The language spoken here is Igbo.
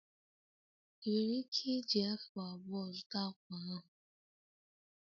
Ị nwere ike iji afu abụọ zụta akwa ahụ?